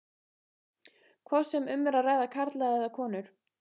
hvort sem um er að ræða karla eða konur.